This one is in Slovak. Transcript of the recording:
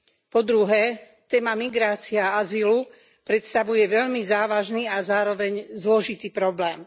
Po druhé, téma migrácie a azylu predstavuje veľmi závažný a zároveň zložitý problém.